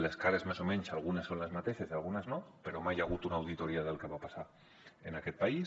les cares més o menys algunes són les mateixes i algunes no però mai hi ha hagut una auditoria del que va passar en aquest país